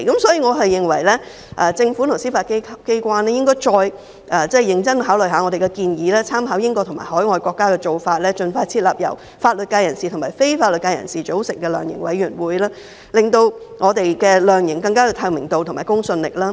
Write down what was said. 所以，我認為政府和司法機關應該認真考慮我們的建議，參考英國和海外國家的做法，盡快設立由法律界人士和非法律界人士組成的量刑委員會，令量刑更具透明度和公信力。